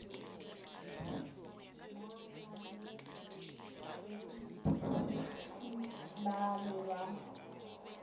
ba garobowitsky ba be ba